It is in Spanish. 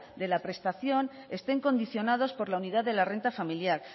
de la prestación estén condicionados por la unidad de la renta familiar